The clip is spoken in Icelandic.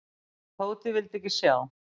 En Tóti vildi ekki sjá.